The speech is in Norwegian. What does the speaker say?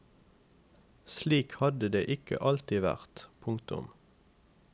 Slik hadde det ikke alltid vært. punktum